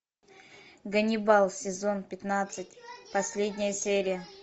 ганнибал сезон пятнадцать последняя серия